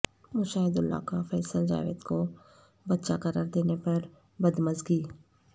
مشاہداللہ کا فیصل جاوید کو بچہ قرار دینے پر بدمزگی